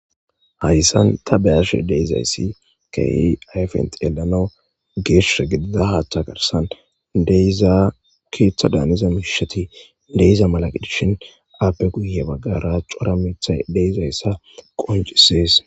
Hayisan ta beyashe deizayssi keei ayfentyelana geesha gidida haatha garsan deizaa ketha daaniza mihishati deyza malagidishin aappe guyye baggara cora mitha deyzayssa qoncises